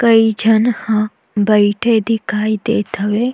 कई झन ह बइठे दिखाई देत हवे।